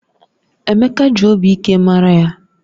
Emeka ji obi ike mara ya